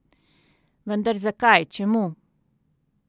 Vendar zakaj, čemu?